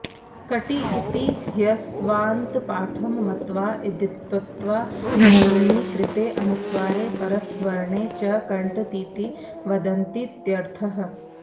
कटि इति ह्यस्वान्तपाठं मत्वा इदित्त्वान्नुमि कृते अनुस्वारे परसवर्णे च कण्टतीति वदन्तीत्यर्थः